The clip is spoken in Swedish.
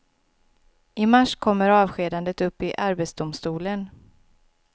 I mars kommer avskedandet upp i arbetsdomstolen.